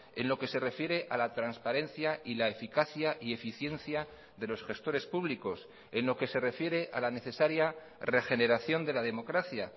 en lo que se refiere a la transparencia y la eficacia y eficiencia de los gestores públicos en lo que se refiere a la necesaria regeneración de la democracia